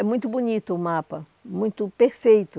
É muito bonito o mapa, muito perfeito.